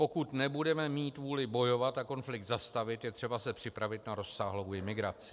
Pokud nebudeme mít vůli bojovat a konflikt zastavit, je třeba se připravit na rozsáhlou imigraci.